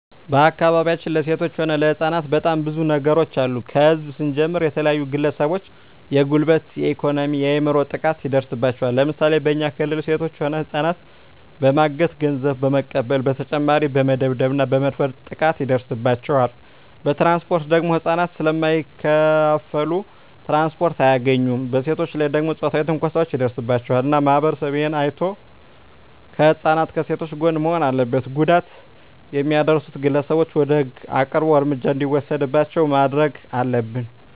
በአካባቢያችን ለሴቶች ሆነ ለህጻናት በጣም ብዙ ነገሮች አሉ ከህዝብ ስንጀምር የተለያዩ ግለሰቦች የጉልበት የኤኮኖሚ የአይምሮ ጥቃት ይደርስባቸዋል ለምሳሌ በኛ ክልል ሴቶች ሆነ ህጻናትን በማገት ገንዘብ በመቀበል በተጨማሪ በመደብደብ እና በመድፈር ጥቃት ይደርስባቸዋል በትራንስፖርት ደግሞ ህጻናት ስለማይከፋሉ ትራንስፖርት አያገኙም በሴቶች ላይ ደግሞ ጾታዊ ትንኮሳዎች ይደርስባቸዋል እና ማህበረሰቡ እሄን አይቶ ከህጻናት ከሴቶች ጎን መሆን አለበት ጉዳት የሚያደርሱት ግለሰቦች ወደ ህግ አቅርቦ እርምጃ እንዲወሰድባቸው ማረግ አለብን